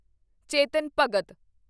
Chetan Bhagat